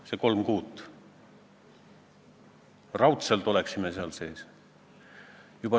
Eesti keele majad on selle jaoks, et seal sees te eestlased võite eesti keelt rääkida ja seal eesti keeles üksteist teenindada, üksteisel käest kinni hoida ja laulda.